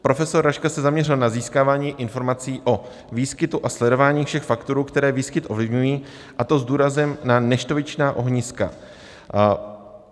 Profesor Raška se zaměřil na získávání informací o výskytu a sledování všech faktorů, které výskyt ovlivňují, a to s důrazem na neštovičná ohniska.